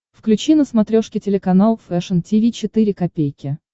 включи на смотрешке телеканал фэшн ти ви четыре ка